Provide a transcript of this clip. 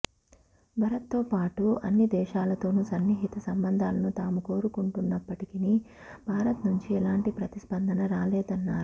భారత్తో పాటు అన్ని దేశాలతోనూ సన్నిహిత సంబంధాలను తాము కోరుకుంటున్నప్పటికీ భారత్ నుంచి ఎలాంటి ప్రతిస్పందన రాలేదన్నారు